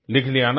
लिख लिया ना